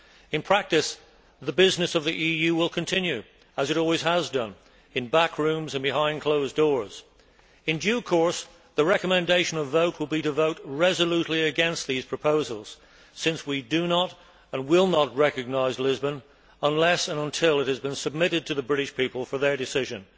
In practice, the business of the EU will continue, as it always has done, in back rooms and behind closed doors. In due course, the recommendation will be to vote resolutely against these proposals since we do not, and will not, recognise Lisbon unless and until it has been submitted to the British people for their decision.